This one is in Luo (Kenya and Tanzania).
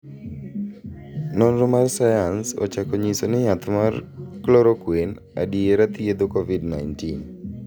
nonro mar sayans ochako nyiso ni yath mar chloroquine adiera thiedho Kovid 19.